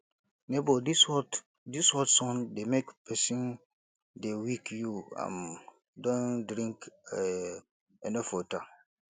nebor dis hot dis hot sun dey make pesin dey weak you um don drink um enough water